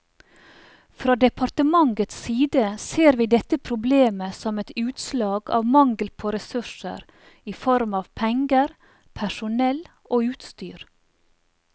Fra departementets side ser vi dette problemet som et utslag av mangel på ressurser i form av penger, personell og utstyr.